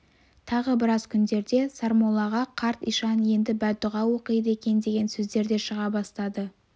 тағы біраз күндерде сармоллаға қарт ишан енді бәддұға оқиды екен деген сөздер де шыға бастады